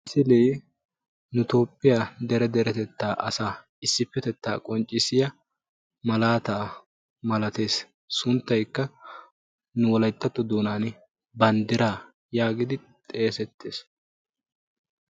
Nu toophiya asaa dere deretetta asaa qonccissiya sunttaykka banddira geetettiyaaga.